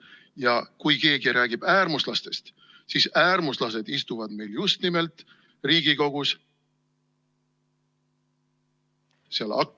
Ja kui keegi räägib äärmuslastest, siis äärmuslased istuvad meil just nimelt Riigikogus ...... seal akna ....